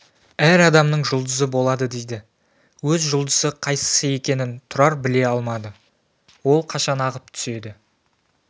әр адамның жұлдызы болады дейді өз жұлдызы қайсысы екенін тұрар біле алмады ол қашан ағып түседі